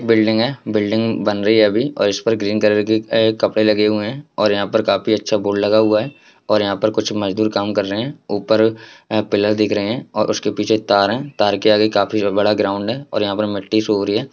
Building है building बन रही है अभी और इस पर ग्रीन कलर के कपड़े लगे हुए हैं और यहाँ पर काफी अच्छा बोर्ड लगा हुआ है| और यहाँ पर कुछ मजदूर काम कर रहे हैं| ऊपर यहाँ पिलर दिख रहे हैं उसके पीछे तार हैं तार के आगे काफी बडा ग्राउन्ड हैं और यहाँ पे मिट्टी सुख रही हैं।